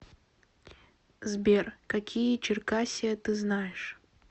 сбер какие черкассия ты знаешь